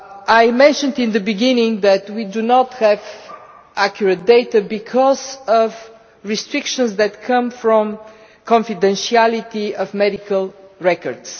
I mentioned in the beginning that we do not have accurate data because of restrictions arising from the confidentiality of medical records.